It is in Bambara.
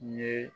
Ɲe